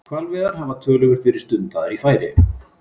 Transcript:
Hvalveiðar hafa töluvert verið stundaðar í Færeyjum.